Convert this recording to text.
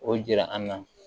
O jira an na